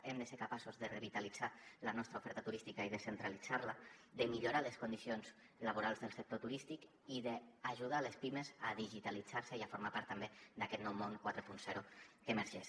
hem de ser capaços de revitalitzar la nostra oferta turística i descentralitzar la de millorar les condicions laborals del sector turístic i d’ajudar les pimes a digitalitzar se i a formar part també d’aquest nou món quaranta que emergeix